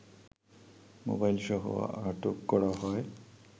মোবাইলসহ আটক করা হয়